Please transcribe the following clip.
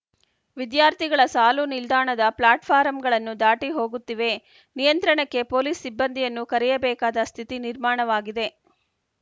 ವಿದ್ಯಾರ್ಥಿಗಳ ಸಾಲು ನಿಲ್ದಾಣದ ಪ್ಲಾಟ್‌ ಫಾರಂಗಳನ್ನೂ ದಾಟಿ ಹೋಗುತ್ತಿವೆ ನಿಯಂತ್ರಣಕ್ಕೆ ಪೊಲೀಸ್‌ ಸಿಬ್ಬಂದಿಯನ್ನೂ ಕರೆಯಬೇಕಾದ ಸ್ಥಿತಿ ನಿರ್ಮಾಣವಾಗಿದೆ